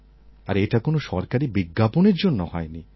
আর এটা কোনো সরকারি বিজ্ঞাপনের জন্য হয়নি